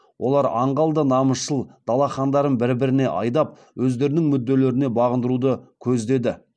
олар аңғал да намысшыл дала хандарын бір біріне айдап өздерінің мүдделеріне бағындыруды көздеді